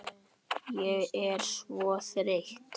Ég er svo þreytt